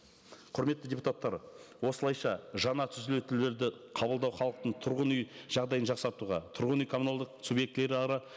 құрметті депутаттар осылайша жаңа түзетулерді қабылдау халықтың тұрғын үй жағдайын жақсартуға тұрғын үй коммуналдық субъектілері